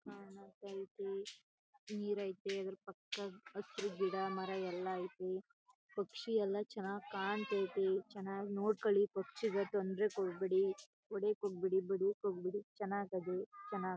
ಕಾಣ್ಸ್ತಯ್ತಿ ನೀರು ಅಯ್ತೆ ಆದ್ರೂ ಪಕ್ಕ ಹಸಿರು ಗಿಡ ಮರ ಎಲ್ಲ ಅಯ್ತೆ ಪಕ್ಷಿ ಎಲ್ಲ ಚನ್ನಾಗ್ ಕಾಂತಯ್ತಿ ಚನ್ನಾಗ್ ನೋಡ್ಕೊಳಿ ಪಕ್ಷಿಗಲ್ ತೊಂದ್ರೆ ಕೊಡ್ಬೇಡಿ ಹೊಡಿಯೋಕ್ ಹೋಗ್ಬೇಡಿ ಬಡಿಯೋಕ್ ಹೋಗ್ಬೇಡಿ ಚನ್ನಾಗ್ ಅಧ.